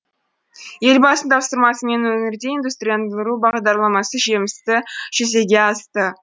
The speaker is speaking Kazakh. елбасының тапсырмасымен өңірде индустрияландыру бағдарламасы жемісті жүзеге асты